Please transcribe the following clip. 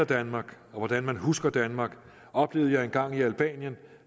danmark og hvordan man husker danmark oplevede jeg en gang i albanien